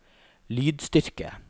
lydstyrke